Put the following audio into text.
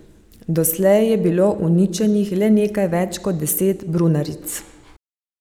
Doslej je bilo uničenih le nekaj več kot deset brunaric.